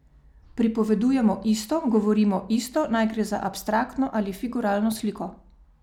Pripovedujemo isto, govorimo isto, naj gre za abstraktno ali figuralno sliko.